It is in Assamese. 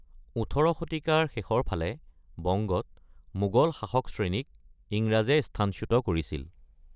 ১৮ শতিকাৰ শেষৰ ফাললৈকে বংগত মোগল শাসক শ্ৰেণীক ইংৰাজে স্থানচ্যুত কৰিছিল।